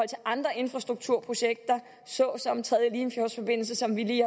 til andre infrastrukturprojekter såsom den tredje limfjordsforbindelse som vi lige